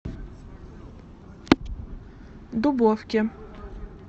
дубовке